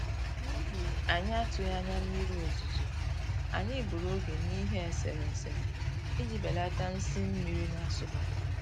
N'ihi anyị atụghị anya mmiri ozuzo, anyị gburu oge n'ihe eserese iji belata nsi mmiri na-asụbata